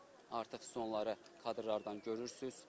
Artıq onları kadrlardan görürsüz.